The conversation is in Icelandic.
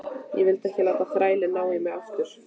Ég vildi ekki láta þrælinn ná í mig aftur.